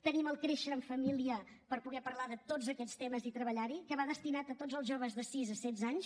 tenim el créixer en família per poder parlar de tots aquests temes i treballar hi que va destinat a tots els joves de sis a setze anys